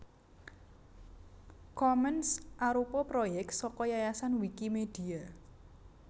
Commons arupa proyèk saka Yayasan Wikimedia